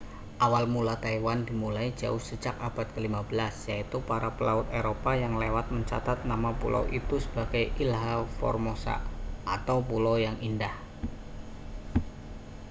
awal mula taiwan dimulai jauh sejak abad ke-15 yaitu para pelaut eropa yang lewat mencatat nama pulau itu sebagai ilha formosa atau pulau yang indah